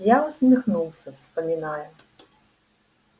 я усмехнулся вспоминая